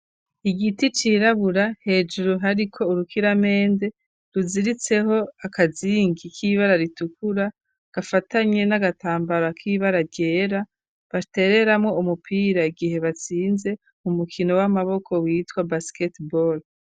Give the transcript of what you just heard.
Igiti cirabura hejuru hariko urukiramende ruziritseho akazingi k'ibara ritukura gafatanye n'agatambaro ak'ibara ryera batereramo umupira igihe batsinze umukino w'amaboko witwa basketball.